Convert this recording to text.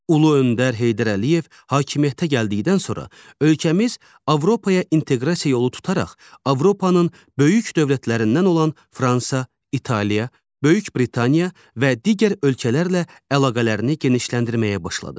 Ulu öndər Heydər Əliyev hakimiyyətə gəldikdən sonra ölkəmiz Avropaya inteqrasiya yolu tutaraq Avropanın böyük dövlətlərindən olan Fransa, İtaliya, Böyük Britaniya və digər ölkələrlə əlaqələrini genişləndirməyə başladı.